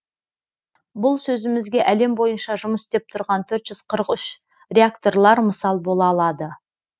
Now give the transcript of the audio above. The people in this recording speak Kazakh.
бұл сөзімізге әлем бойынша жұмыс істеп тұрған төрт жүз қырық үш реакторлар мысал бола алады